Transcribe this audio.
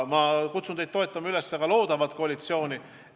Ma kutsun teid üles toetama ka loodavat koalitsiooni.